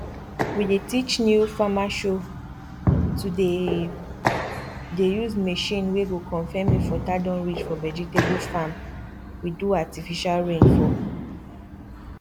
we dey teach new farmershow to the dey use machine wey go confirm if water don reach for vegetable farm we do artifical rain for